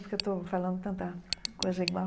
Porque eu estou falando tanta coisa igual.